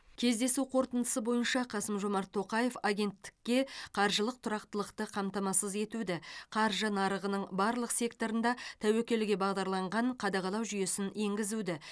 кездесу қорытындысы бойынша қасым жомарт тоқаев агенттікке қаржылық тұрақтылықты қамтамасыз етуді қаржы нарығының барлық секторында тәуекелге бағдарланған қадағалау жүйесін енгізуді